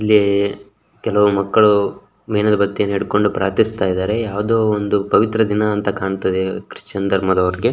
ಅಲ್ಲಿ ಕೆಲವು ಮಕ್ಕಳು ಮೇಣದ ಬತ್ತಿಯನ್ನು ಹಿಡ್ಕೊಂಡು ಪ್ರಾರ್ಥಿಸುತ್ತ ಇದ್ದಾರೆ ಯಾವುದೊ ಒಂದು ಪವಿತ್ರ ದಿನ ಅಂತ ಕಾಣ್ತದೆ ಕ್ರಿಶ್ಚಿಯನ್ ಧರ್ಮದವರಿಗೆ --